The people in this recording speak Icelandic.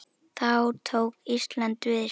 Þá tók Ísland við sér.